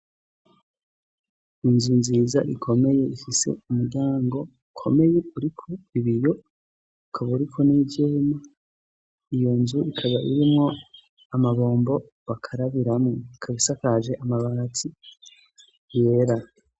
Inzu nziza ikomeye ifise umuryango ukomeye uriko ibiyo ukaba uriko n'ivyema, iyo nzu ikaba irimwo amabombo bakarabiramwo ikaba isakaje amabati yera.